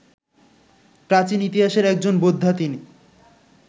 প্রাচীন ইতিহাসের একজন বোদ্ধা তিনি